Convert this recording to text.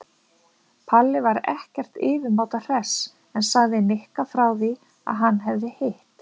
Palli var ekkert yfirmáta hress en sagði Nikka frá því að hann hefði hitt